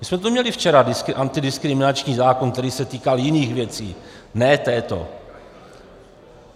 My jsme tu měli včera antidiskriminační zákon, který se týkal jiných věcí, ne této.